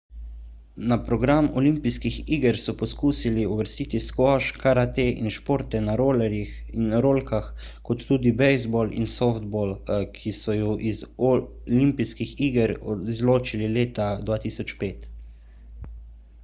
na program olimpijskih iger so poskušali uvrstiti skvoš karate in športe na rolerjih in rolkah kot tudi bejzbol in softball ki so ju iz oi izločili leta 2005